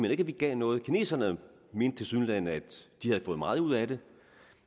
ikke at vi gav noget kineserne mente tilsyneladende at de havde fået meget ud af det